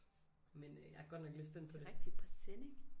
Men øh jeg er godt nok lidt spændt på det